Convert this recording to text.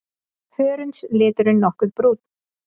Hörundsliturinn nokkuð brúnn.